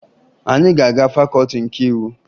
Anyị ga-aga Fakọọti nke Iwu